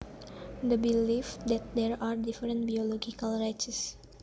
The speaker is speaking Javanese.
The belief that there are different biological races